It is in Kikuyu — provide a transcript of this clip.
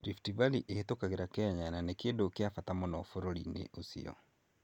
Rift Valley ĩhĩtũkagĩra Kenya na nĩ kĩndũ kĩa bata mũno bũrũri-inĩ ũcio.